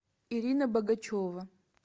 ирина богачева